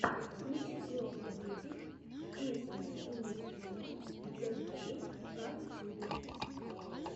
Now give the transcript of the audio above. включи трех медведей песни и мультфильмы для детей на ютюбе